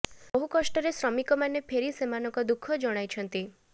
ବହୁ କଷ୍ଟରେ ଶ୍ରମିକ ମାନେ ଫେରି ସେମାନଙ୍କ ଦୁଃଖ ଜଣାଇଛନ୍ତି